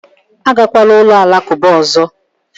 Agakwala ụlọ alakụba ọzọ!